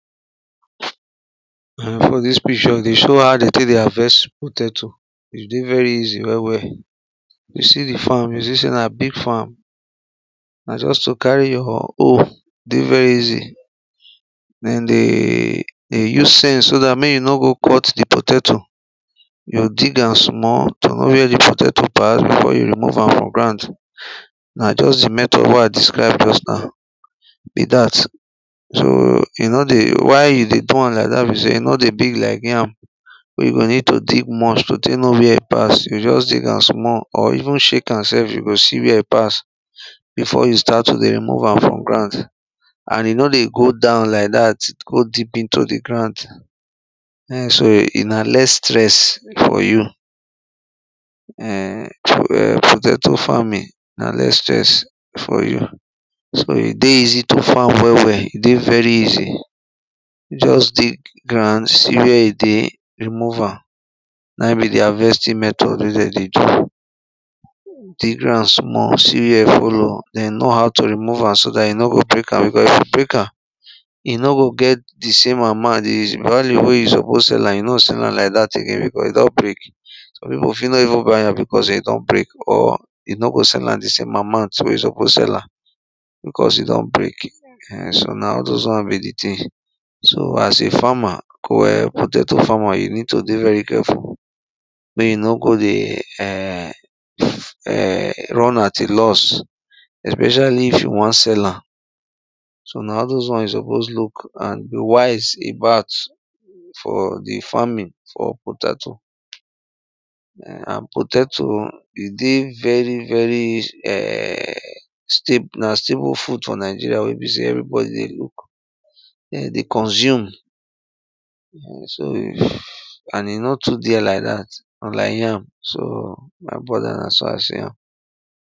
um for dis picture dey show how de tek dey harvest potatoe e dey very easy well well. you see di farm you see sey na big farm, na just to carry your hoe e dey very easy den dey use sence so dat mek you no go cut di potatoe. you go dig an small to know where the potatoe pass before you remove am for ground na just di method wey i describe just now be dat. So e no dey why you dey do am like that na be sey e no dey big like yam wey you go need to dig much so tey no where e pass you just dig am small or even shake am self to see where pass before you start to dey move am for grand. and e no dey go down like dat go dip into di grand, um so e na less stres for you. um potatoe farming na less stress for you so e dey easy to farm well well, e dey very easy. just dig grand, see where e dey remove am na in be di harvesting method wey de dey do. dig ground small see where e follow then know how to remove am so that e no go break am because if you break am, e no go get di same amount di value wey you suppose sell am you no go sell am like that again because e don break some pipu fit no even buy am because e don break, or you no go sell am di same amount wey you suppose sell am because e don break. um So na all those ones be di tin. so as a farmer, potato farmer, you need to dey very careful mey you no go dey um um run at a loss especially if you won sell am so na all those one you suppose look and be wise about for the farming for potatoe. and potatoe e dey very very um stable na stable food for nigeria wey be sey everybodi dey look dem dey consume and e no too dey ike dat like yam so my brother na so i see am